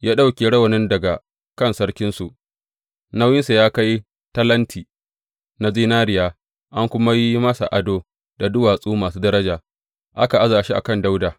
Ya ɗauke rawanin daga kan sarkinsu, nauyinsa ya kai talenti, na zinariya, an kuma yi masa ado da duwatsu masu daraja, aka aza shi a kan Dawuda.